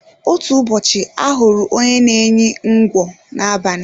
Otú ụbọchị ahụrụ onye n'enyi ńgwọ n'abali